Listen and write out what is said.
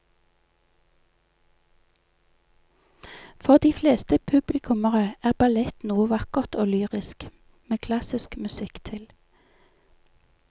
For de fleste publikummere er ballett noe vakkert og lyrisk med klassisk musikk til.